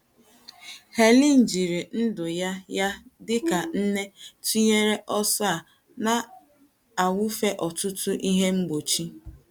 Helen jiri ndụ ya ya dị ka nne tụnyere ọsọ a na - awụfe ọtụtụ ihe mgbochi.